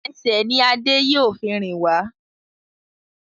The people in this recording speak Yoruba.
Ẹsẹ̀ ní Ade yíò fún rìn wá